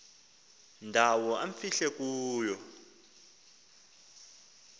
ndawo amfihle kuyo